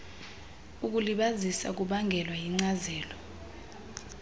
ukulibazisa kubangelwa yinkcazelo